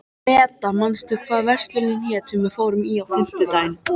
Meda, manstu hvað verslunin hét sem við fórum í á fimmtudaginn?